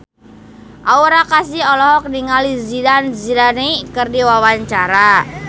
Aura Kasih olohok ningali Zidane Zidane keur diwawancara